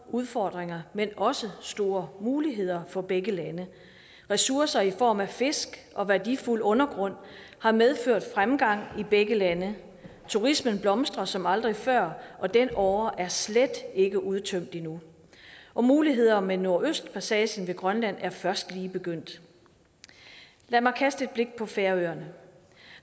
udfordringer men også store muligheder for begge lande ressourcer i form af fisk og værdifuld undergrund har medført fremgang i begge lande turismen blomstrer som aldrig før og den åre er slet ikke udtømt endnu og muligheder med nordøstpassagen ved grønland er først lige begyndt lad mig kaste et blik på færøerne